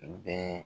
Bɛɛ